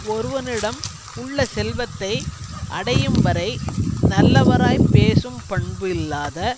ஒருவனிடம் உள்ள செல்வத்தை அடையும்வரை நல்லவராய்ப் பேசும் பண்பு இல்லாத